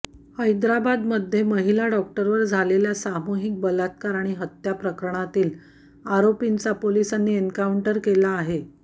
हैदराबादमध्ये महिला डॉक्टरवर झालेल्या सामूहिक बलात्कार आणि हत्या प्रकरणातील आरोपींचा पोलिसांनी एन्काऊंटर केला आहे